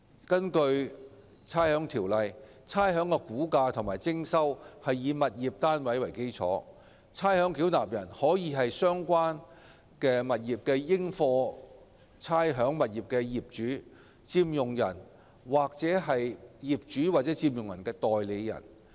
根據《差餉條例》，差餉的估價及徵收是以物業單位為基礎，而差餉繳納人可以是相關應課差餉物業的業主、佔用人或業主或佔用人的代理人。